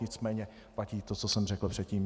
Nicméně platí to, co jsem řekl předtím.